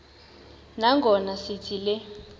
nangona sithi le